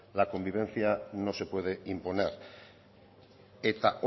la convivencia no se puede imponer eta